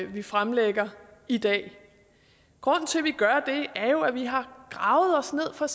vi fremlægger i dag grunden til at vi gør det er jo at vi har gravet os ned for